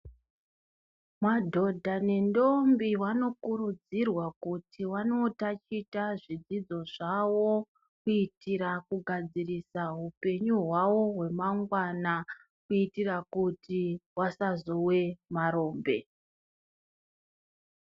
Madhodha nendombi wanokurudzirwa kuti wanotaticha zvidzidzo zvawo kuitira kugadzirisa hupenyu hwawo hwemangwana kuitira kuti wasazowe marombe.